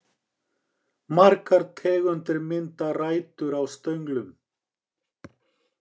Margar tegundir mynda rætur á stönglum.